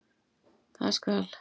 Það skal